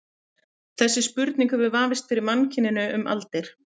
Þessi spurning hefur vafist fyrir mannkyninu um aldir.